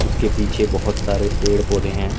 उसके पीछे बहोत सारे पेड़ पौधे हैं।